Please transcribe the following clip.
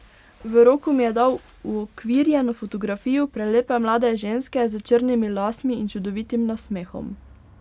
V roko mi je dal uokvirjeno fotografijo prelepe mlade ženske s črnimi lasmi in čudovitim nasmehom.